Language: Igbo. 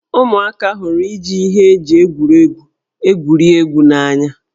Ụmụaka hụrụ iji ihe eji egwuregwu egwuri egwu n'anya.